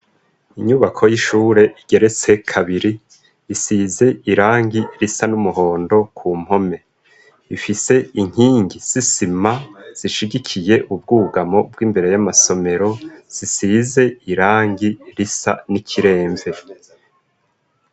Inyubako y'ishure igeretse kabiri isize irangi risa n'umuhondo ku mpome ifise inkingi zisize isima zishigikiye ubwugamo bw'imbere y'amasomero zisize irangi risa n'ikiremve.